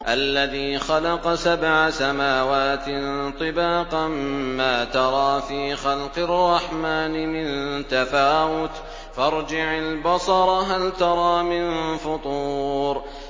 الَّذِي خَلَقَ سَبْعَ سَمَاوَاتٍ طِبَاقًا ۖ مَّا تَرَىٰ فِي خَلْقِ الرَّحْمَٰنِ مِن تَفَاوُتٍ ۖ فَارْجِعِ الْبَصَرَ هَلْ تَرَىٰ مِن فُطُورٍ